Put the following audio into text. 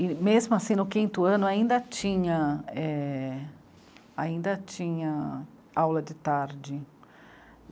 E mesmo assim, no quinto ano, ainda tinha é.... ainda tinha aula de tarde.